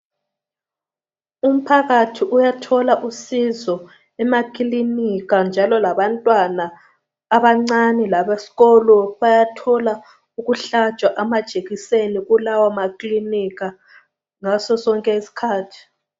Umphakathi uyathola usizo emakilinika njalo labantwana abancane labesikolo bayathola ukuhlatshwa amajekiseni kulawo makilinika ngaso sonke iskhathi .